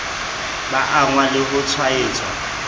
ba angwang le ho tshwaetswa